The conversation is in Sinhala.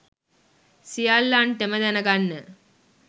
සියල්ලන්ටම දැනගන්න